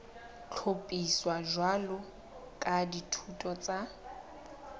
hlophiswa jwalo ka dithuto tsa